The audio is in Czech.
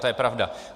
To je pravda.